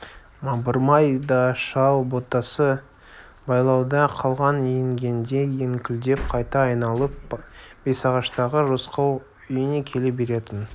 мамырбай шал да ботасы байлауда қалған інгендей еңкілдеп қайта айналып бесағаштағы рысқұл үйіне келе беретін